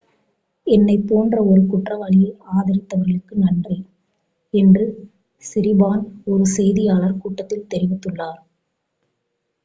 """என்னைப் போன்ற ஒரு குற்றவாளியை ஆதரித்தவர்களுக்கு நன்றி" என்று சிரிபார்ன் ஒரு செய்தியாளர் கூட்டத்தில் தெரிவித்துள்ளார்.